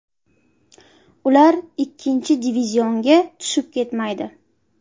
Ular ikkinchi divizionga tushib ketmaydi.